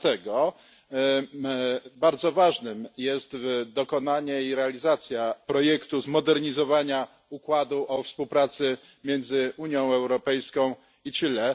Dlatego bardzo ważne jest dokonanie i realizacja projektu zmodernizowania układu o współpracy między Unią Europejską i Chile.